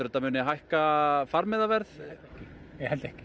þetta muni hækka farmiðaverð ég held ekki